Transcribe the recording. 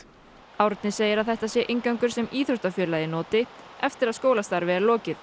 Árni segir að þetta sé inngangur sem íþróttafélagið noti eftir að skólastarfi er lokið